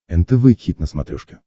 нтв хит на смотрешке